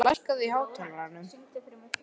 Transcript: Sylgja, lækkaðu í hátalaranum.